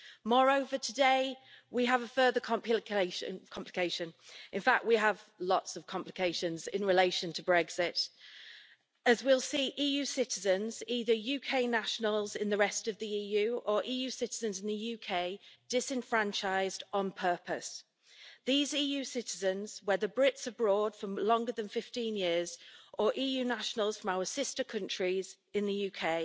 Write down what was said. Moreover, today we have a further complication in fact, we have lots of complications in relation to Brexit as we will see EU citizens, either UK nationals in the rest of the EU or EU citizens in the UK, disenfranchised on purpose. These EU citizens, whether Brits abroad for longer than 15 years or EU nationals from our sister countries in the